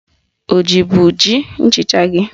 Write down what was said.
Ọ jibu ji nchịcha gị?